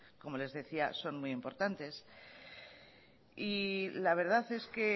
son muy importantes la verdad es que